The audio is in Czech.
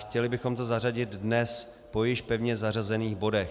Chtěli bychom to zařadit dnes po již pevně zařazených bodech.